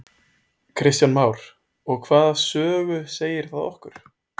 Kristján Már: Og hvaða sögu segir það okkur?